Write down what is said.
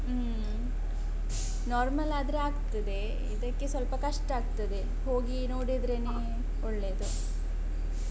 ಹ್ಮ್ normal ಆದ್ರೆ ಆಗ್ತದೆ ಇದಕ್ಕೆ ಸ್ವಲ್ಪ ಕಷ್ಟ ಆಗ್ತದೆ. ಹೋಗಿ ನೋಡಿದ್ರೇನೇ ಒಳ್ಳೇದು.